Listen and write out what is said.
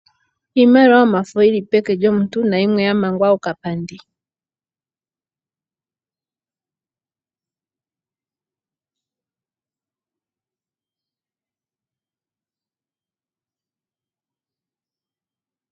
Iimaliwa yomafo yili peke lyomuntu, na yimwe ya mangwa okapandi.